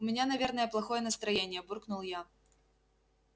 у меня наверное плохое настроение буркнул я